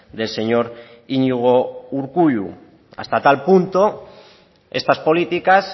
del señor iñigo urkullu hasta tal punto estas políticas